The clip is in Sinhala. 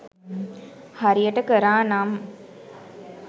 හරියට කරානම්